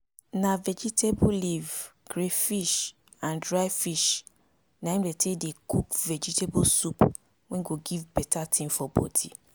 na vegetable leaf crayfish and dry fish na im dey take dey cook vegetable soup wey go give better thing for body